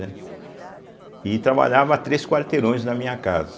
E trabalhava a três quarteirões da minha casa.